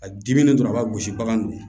A dimi dɔrɔn a b'a gosi bagan de ye